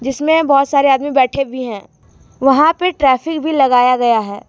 इसमें बहुत सारे आदमी बैठे भी हैं वहां पे ट्रैफिक भी लगाया गया है।